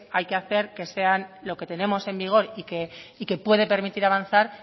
hay que hacer que sean lo que tenemos en vigor y que puede permitir avanzar